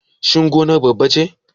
Shin gonar babba ce?